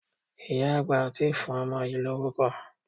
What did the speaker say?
Ìyá àgbà ò tí ì fún ọmọ yìí lórúkọ.